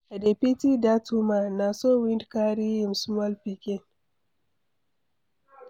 I dey pity dat woman, na so wind carry im small pikin.